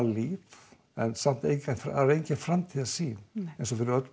líf en samt engin framtíðarsýn eins og fyrir öll